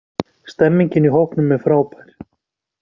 Stemmingin í hópnum er frábær.